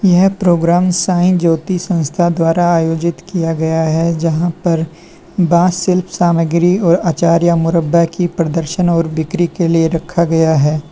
यह प्रोग्राम साईं ज्योति संस्था द्वारा आयोजित किया गया है जहां पर बॉस शिल्प सामग्री और आचार या मुरब्बा की प्रदर्शन और बिक्री के लिए रखा गया है।